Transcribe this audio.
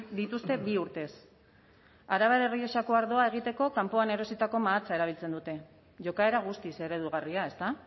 dituzte bi urtez arabar errioxako ardoa egiteko kanpoan erositako mahatsa erabiltzen dute jokaera guztiz eredugarria ezta